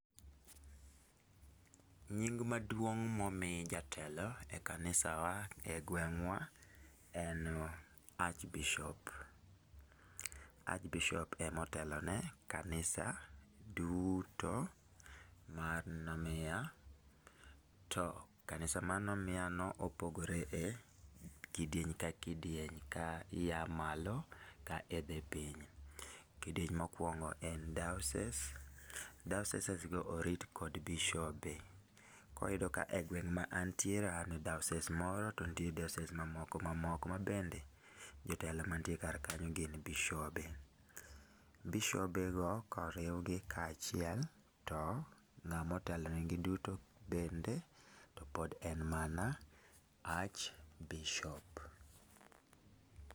nying' maduong' momi jatelo e kanisawa e gwengwa en Arch bishop Arch bishop ema otelone kanisa duto mar Nomiya, to kanisa mar Nomiya no opogore e kidiney ka kidieny ka ia malo ka idhi piny, kidieny mokuong'o en diocese, diocesses go orit kod bishobe, koro iyudo ka gweng' ma antiere an e dioscess moro to nitiere diocess mamoko mamoko mabende jotelo mantiere kar kanyo gin bishobe, bishobe go koriw gi ka achiel to ng'ama otelo ne gi duto pod en mana arch bishop